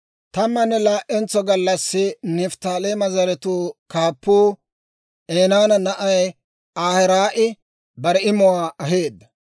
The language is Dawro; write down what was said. Tammanne laa"entso gallassi Nifttaaleema zaratuu kaappuu Enaana na'ay Ahiraa'i bare imuwaa aheedda.